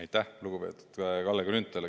Aitäh, lugupeetud Kalle Grünthal!